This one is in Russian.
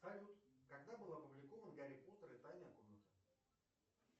салют когда был опубликован гарри поттер и тайная комната